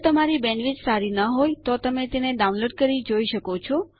જો તમારી બેન્ડવિડ્થ સારી નહિં હોય તો તમે ડાઉનલોડ કરી તે જોઈ શકો છો